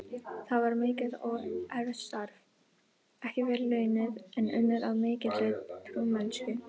Það var mikið og erfitt starf, ekki vel launað, en unnið af mikilli trúmennsku.